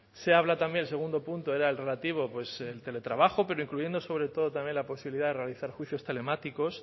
se habla también el segundo punto era el relativo al teletrabajo pero incluyendo sobre todo también la posibilidad de realizar juicios telemáticos